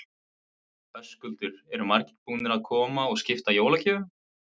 Höskuldur: Eru margir búnir að koma og skipta jólagjöfum?